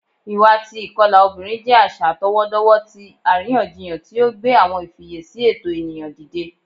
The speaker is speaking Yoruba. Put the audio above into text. Iwa ti ikọla obinrin jẹ aṣa atọwọdọwọ ti ariyanjiyan ti o gbe awọn ifiyesi ẹtọ eniyan dide